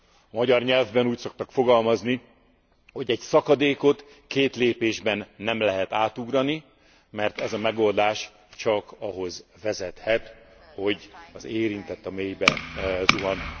A magyar nyelvben úgy szoktak fogalmazni, hogy egy szakadékot két lépésben nem lehet átugrani, mert ez a megoldás csak ahhoz vezethet, hogy az érintett a mélybe zuhan.